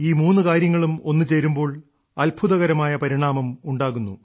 ഈ മൂന്നു കാര്യങ്ങളും ഒന്നുചേരുമ്പോൾ അത്ഭുതകരമായ പരിണാമം ഉണ്ടാകുന്നു